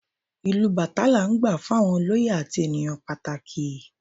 Ìlù Batá la n gbá fún àwọn olóyè àti ènìyàn pàtàkì